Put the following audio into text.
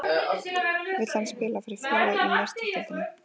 Vill hann spila fyrir félag í Meistaradeildinni?